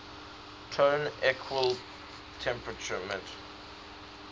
tone equal temperament